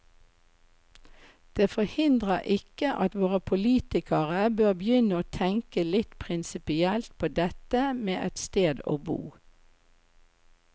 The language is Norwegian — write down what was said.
Det forhindrer ikke at våre politikere bør begynne å tenke litt prinsipielt på dette med et sted å bo.